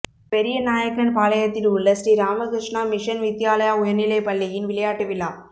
பெரியநாயக்கன்பாளையத்தில் உள்ள ஸ்ரீ ராமகிருஷ்ணா மிஷன் வித்யாலய உயா்நிலை பள்ளியின் விளையாட்டு விழா